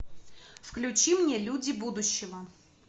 включи мне люди будущего